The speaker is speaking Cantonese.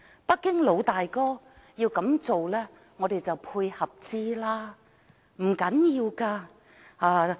北京"老大哥"要這樣做，我們便予以配合，不要緊的。